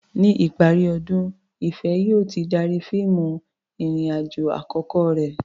Ní ìparí ọdún, Ìfẹ̀ yóò ti darí fíìmù ìrìn-àjò àkọ́kọ́ rẹ̀.